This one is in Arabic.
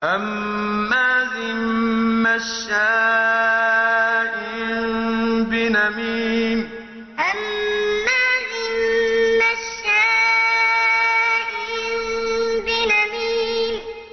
هَمَّازٍ مَّشَّاءٍ بِنَمِيمٍ هَمَّازٍ مَّشَّاءٍ بِنَمِيمٍ